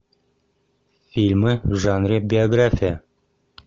фильмы в жанре биография